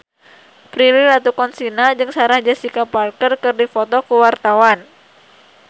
Prilly Latuconsina jeung Sarah Jessica Parker keur dipoto ku wartawan